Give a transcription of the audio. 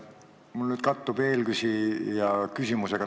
Minu küsimus kattub natuke eelküsija küsimusega.